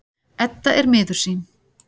Edda er miður sín.